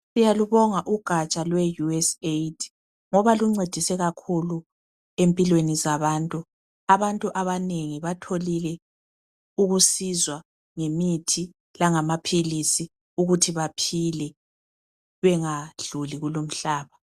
siyalubonga ugatsha lwe USAID ngoba luncedise kakhulu empilweni zabantu abantu abanengi batholile ukusizwa ngemithi langamaphilisi ukuthi baphile bangadluli kulo umhlaba